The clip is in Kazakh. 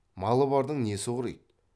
малы бардың несі құриды